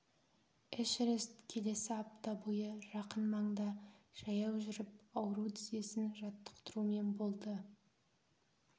эшерест келесі апта бойы жақын маңда жаяу жүріп ауру тізесін жаттықтырумен болды